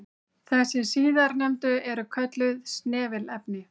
Þessi síðarnefndu eru kölluð snefilefni.